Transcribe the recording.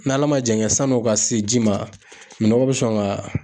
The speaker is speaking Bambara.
N' Ala ma jan kɛ san'o ka se ji ma minɔgɔ bɛ sɔn ka